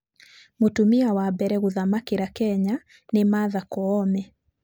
Mũtumia wa mbere gũthamakĩra Kenya nĩ Martha Koome.